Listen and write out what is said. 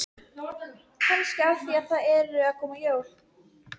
Nú verði hann að taka ákvörðun.